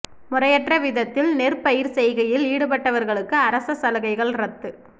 முறையற்ற விதத்தில் நெற்பயிற்செய்கையில் ஈடுபடுபவர்களுக்கு அரச சலுகைகள் ரத்து